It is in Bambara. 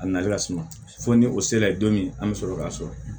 A nali ka suma fo ni o sera don min an bɛ sɔrɔ ka sɔrɔ